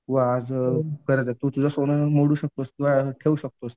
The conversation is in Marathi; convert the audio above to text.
किंवा आज तू तुझं सोनं मोडून ठेऊ शकतोस.